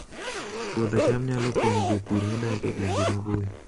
Puodho cham nyalo konyo jopur modak e gwenge maboyo